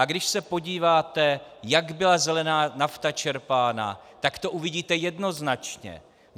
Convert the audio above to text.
A když se podíváte, jak byla zelená nafta čerpána, tak to uvidíte jednoznačně.